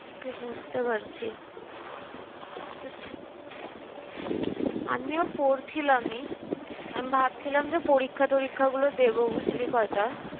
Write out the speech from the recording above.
সে বুঝতে পারছি। আমিও পড়ছিলামই। আমি ভাবছিলাম যে, পরীক্ষা-টরীক্ষাগুলো দেব বুঝলি কয়টা।